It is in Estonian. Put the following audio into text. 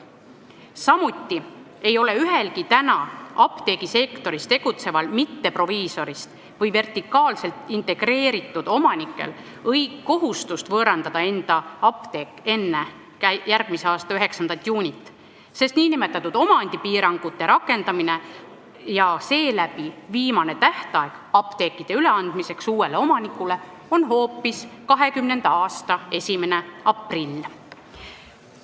Samuti ei ole ühelgi täna apteegisektoris tegutseval mitteproviisorist või vertikaalselt integreeritud omanikul kohustust võõrandada enda apteek enne järgmise aasta 9. juunit, sest nn omandipiirangute rakendamine ja seeläbi viimane tähtaeg apteekide üleandmiseks uuele omanikule on hoopis 2020. aasta 1. aprill.